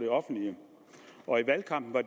op med